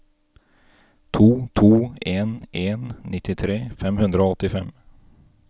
to to en en nittitre fem hundre og åttifem